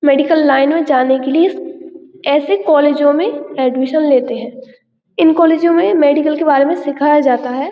Medical line में जाने के लिए ऐसे कोलेजो में एडमिशन लेते हैं। इन कोलेजो में मेडिकल के बारे में सिखाया जाता है।